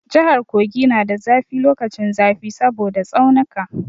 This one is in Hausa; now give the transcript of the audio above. Jahar Kogi na da zafi lokacin zafi saboda tsaunika.